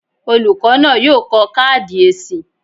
Olùkọ́ náà yóò kọ káàdì èsì.